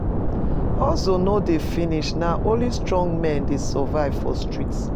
Hustle no de finish na only strong men de survive for street